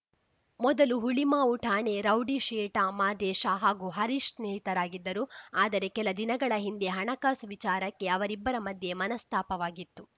ಮೊದಲು ಹುಳಿಮಾವು ಠಾಣೆ ರೌಡಿಶೀಟ ಮಾದೇಶ ಹಾಗೂ ಹರೀಶ್‌ ಸ್ನೇಹಿತರಾಗಿದ್ದರು ಆದರೆ ಕೆಲ ದಿನಗಳ ಹಿಂದೆ ಹಣಕಾಸು ವಿಚಾರಕ್ಕೆ ಅವರಿಬ್ಬರ ಮಧ್ಯೆ ಮನಸ್ತಾಪವಾಗಿತ್ತು